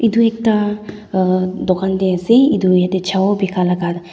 duita uh dukaan de ase edu ede chow bika laga.